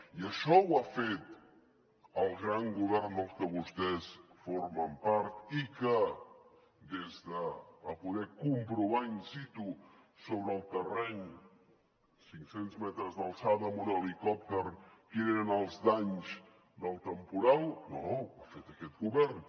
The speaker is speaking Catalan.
i això ho ha fet el gran govern del que vostès formen part i que va poder comprovar in situ sobre el terreny a cinc cents metres d’alçada amb un helicòpter quins eren els danys del temporal no ho ha fet aquest govern